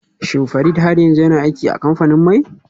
Shin Farid har yanzu yana aiki a kamfanin mai?